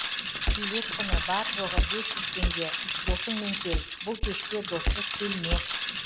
билет құны бар жоғы бес жүз теңге досыңмен кел бұл кешке доссыз келме